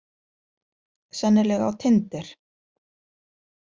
Sennilega á tinder.